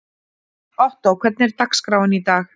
Ottó, hvernig er dagskráin í dag?